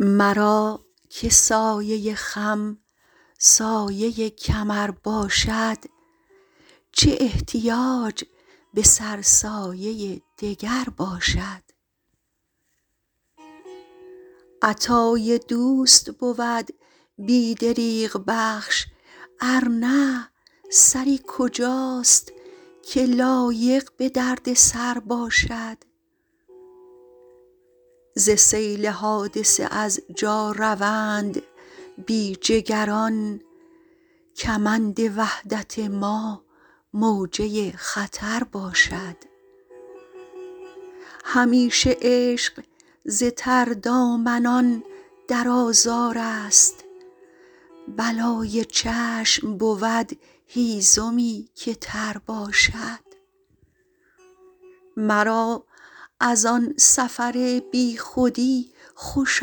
مرا که سایه خم سایه کمر باشد چه احتیاج به سرسایه دگر باشد عطای دوست بود بی دریغ بخش ارنه سری کجاست که لایق به دردسرباشد زسیل حادثه از جا روند بیجگران کمند وحدت ما موجه خطر باشد همیشه عشق زتردامنان در آزارست بلای چشم بود هیزمی که تر باشد مرا از آن سفر بیخودی خوش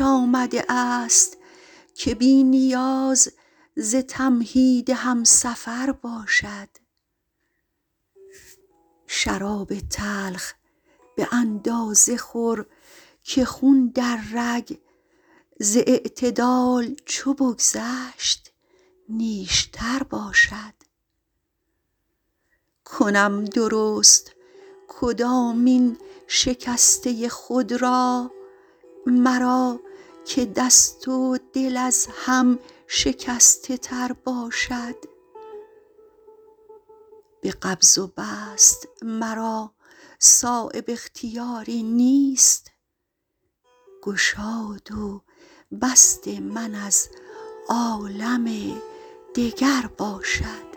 آمده است که بی نیاز ز تمهید همسفر باشد شراب تلخ به اندازه خورکه خون در رگ زاعتدال چو بگذشت نیشتر باشد کنم درست کدامین شکسته خود را مرا که دست ودل از هم شکسته تر باشد به قبض وبسط مرا صایب اختیاری نیست گشاد و بست من از عالم دگر باشد